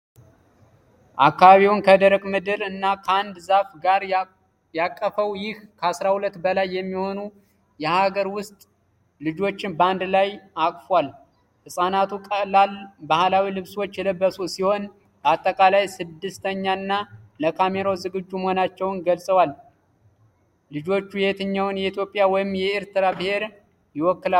አካባቢውን ከደረቅ ምድር እና ከአንድ ዛፍ ጋር ያቀፈው ይህ ከ12 በላይ የሚሆኑ የአገር ውስጥ ልጆችን በአንድ ላይ አቅፎል። ሕጻናቱ ቀላል ባህላዊ ልብሶች የለበሱ ሲሆን በአጠቃላይ ደስተኛና ለካሜራው ዝግጁ መሆናቸውን ገልጸዋል። ልጆቹ የትኛውን የኢትዮጵያ ወይም የኤርትራ ብሔር ይወክላሉ?